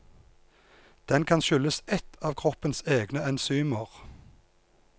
Den kan skyldes ett av kroppens egne enzymer.